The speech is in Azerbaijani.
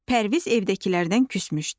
Pərviz evdəkilərdən küsmüşdü.